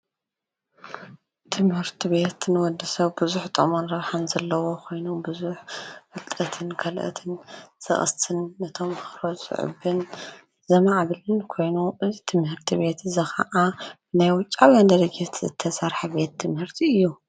ትምህርቲ ቤት ንወዲ ሰብ ቡዙሕ ጥቅሚ ኸም ዘለዎ ኾይኑ ቡዙሕ ፍልጠትን ካልኦትን ዝቀስም ንተማሃሮ ዘዕብን ዘማዕብሉሉን ኮይኑ እዚ ትምህርቲ ቤት ኸዓ ናይ ውጫውያን ድርጅት ዝተሰርሐ ቤት ትምህርቲ እዩ፡፡